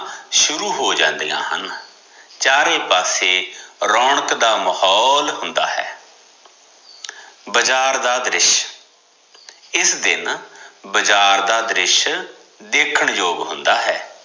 ਸ਼ੁਰੂ ਹੋ ਜਾਂਦਿਆ ਹਨ, ਚਾਰੇ ਪਾਸੇ ਰੋਣਕ ਦਾ ਮਾਹੋਲ ਹੁੰਦਾ ਹੈ ਬਜ਼ਾਰ ਦਾ ਦ੍ਰਿਸ਼ ਇਸ ਦਿਨ ਬਾਜ਼ਾਰ ਦੀ ਦ੍ਰਿਸ਼ ਦੇਖਣ ਯੋਗ ਹੁੰਦਾ ਹੈ